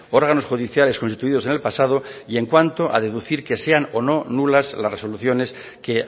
órganos judiciales constituidos en el pasado y en cuanto a deducir que sean o no nulas las resoluciones que